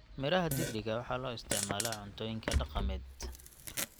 miraha digiriga waxaa loo isticmaalaa cuntooyinka dhaqameed.